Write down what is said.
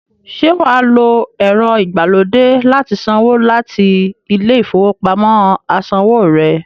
Ṣé wà á lo ẹ̀rọ-ìgbàlódé láti sanwó láti ilé-ìfowópamọ́-asanwó rẹ?